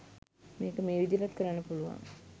මේක මේ විදිහටත් කරන්න පුළුවන්